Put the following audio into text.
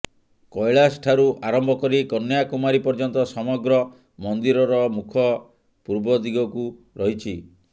କୈଳାସ ଠାରୁ ଆରମ୍ଭକରି କନ୍ୟାକୁମାରୀ ପର୍ଯ୍ୟନ୍ତ ସମଗ୍ର ମନ୍ଦିରର ମୁଖ ପୂର୍ବ ଦିଗକୁ ରହିଛି